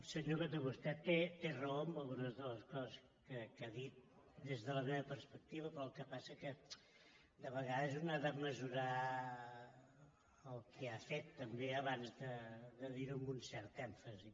senyor coto vostè té raó en algunes de les coses que ha dit des de la meva perspectiva però el que passa que de vegades un ha de mesurar el que ha fet també abans de dir·ho amb un cert èmfasi